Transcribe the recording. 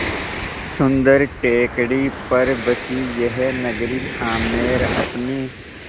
सुन्दर टेकड़ी पर बसी यह नगरी आमेर अपने